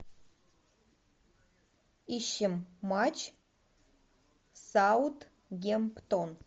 ищем матч саутгемптон